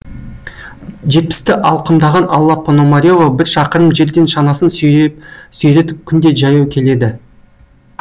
жетпісті алқымдаған алла пономарева бір шақырым жерден шанасын сүйретіп күнде жаяу келеді